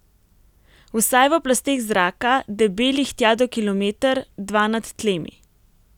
Vsaj v plasteh zraka, debelih tja do kilometer, dva nad tlemi.